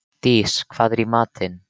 Dís, hvað er í matinn?